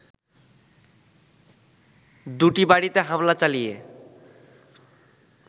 দুটি বাড়িতে হামলা চালিয়ে